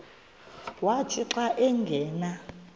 wathi xa angena